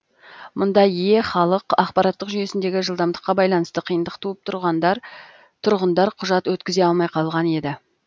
мұнда е халық ақпараттық жүйесіндегі жылдамдыққа байланысты қиындық туып тұрғындар құжат өткізе алмай қалған еді